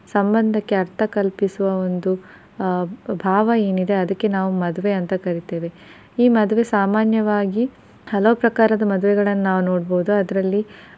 ಸಂಬಂಧಕ್ಕೆ ಅರ್ಥ ಕಲ್ಪಿಸುವ ಒಂದು ಆ ಭಾವ ಏನಿದೆ ಅದಕೆ ನಾವು ಮದ್ವೆ ಅಂತ ಕರಿತೆವೆ ಈ ಮದ್ವೆ ಸಾಮಾನ್ಯವಾಗಿ ಹಲವು ಪ್ರಕಾರದ ಮದುವೆಗಳನ್ನು ನಾವ್ ನೋಡ್ಬಹುದು ಅದರಲ್ಲಿ